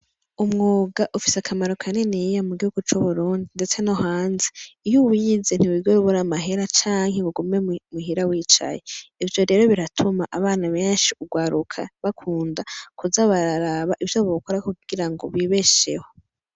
Umwuga ufise akamaro kaniniya mugihugu cuburundi ndetse no hanze iyo uwize ntiwigera ubura amahera canke ugume muhira wicaye ivyo rero biratuma bana benshi urwaruka bakunda kuza bararaba ivyo bokora kugira bibesheho